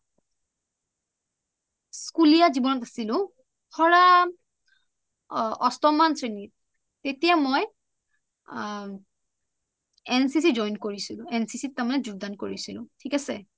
স্কুলীয়া জীৱনত আচিলো ধৰা অষ্টম মান শ্ৰেণী তেতিয়া মই এনচিচি ত join কৰিছিলো তাৰমানে মই এন চি চি যোগদান কৰিছিলো থিক আছে?